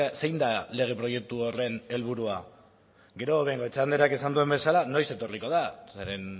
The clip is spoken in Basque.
zein da lege proiektu horren helburua gero bengoechea andreak esan duen bezala noiz etorriko da zeren